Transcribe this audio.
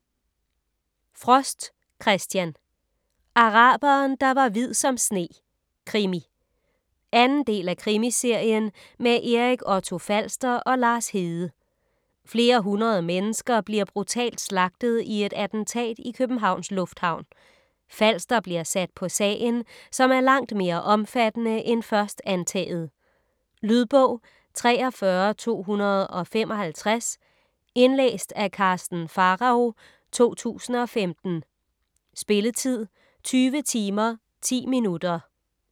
Frost, Christian: Araberen der var hvid som sne: krimi 2. del af Krimiserien med Erik Otto Falster og Lars Hede. Flere hundrede mennesker bliver brutalt slagtet i et attentat i Københavns lufthavn. Falster bliver sat på sagen, som er langt mere omfattende end først antaget. Lydbog 43255 Indlæst af Karsten Pharao, 2015. Spilletid: 20 timer, 10 minutter.